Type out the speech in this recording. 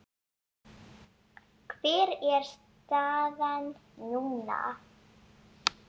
Hver er staðan núna?